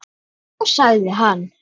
Þá sagði hann.